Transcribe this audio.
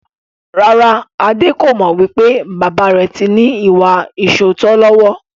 Rárá, Adé kò mọ wípé bàbà rẹ tí ní ìwà ìsootọ́ lọ́wọ́.